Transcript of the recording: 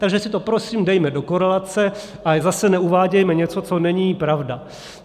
Takže si to prosím dejme do korelace, ale zase neuvádějme něco, co není pravda.